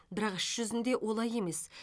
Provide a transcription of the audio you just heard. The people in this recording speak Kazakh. бірақ іс жүзінде олай емес